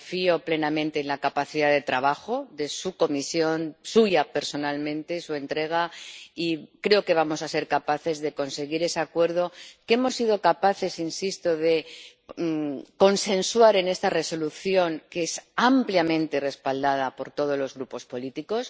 Confío plenamente en la capacidad de trabajo de su Comisión, en la suya personalmente y en su entrega, y creo que vamos a ser capaces de conseguir ese acuerdo que hemos sido capaces —insisto— de consensuar en este informe, ampliamente respaldado por todos los grupos políticos.